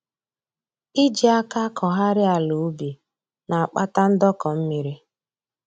Iji aka akọgharị ala ubi na-akpata ndọkọ mmiri